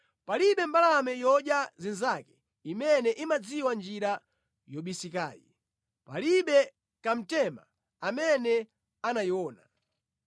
Palibe mbalame yodya zinzake imene imadziwa njira yobisikayi, palibe kamtema amene anayiona.